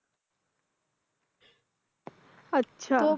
আচ্ছা।